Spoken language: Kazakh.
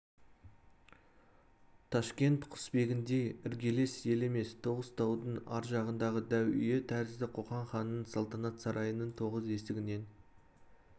ташкент құсбегіндей іргелес ел емес тоғыз таудың ар жағындағы дәу үйі тәрізді қоқан ханының салтанат сарайының тоғыз есігінен